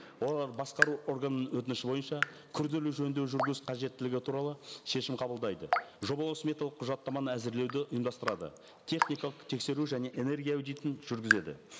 олар басқару органның өтініші бойынша күрделі жөндеу қажеттелігі туралы шешім қабылдайды жобалау сметалық құжаттаманы әзірлеуді ұйымдастырады техникалық тексеру және энергия аудитын жүргізеді